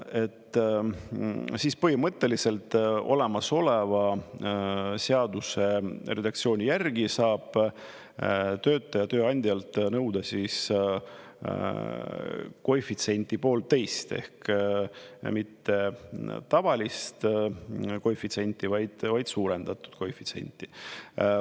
… siis põhimõtteliselt olemasoleva seaduse redaktsiooni järgi saab töötaja tööandjalt nõuda siis koefitsienti 1,5 ehk mitte tavalist koefitsienti, vaid suurendatud koefitsienti.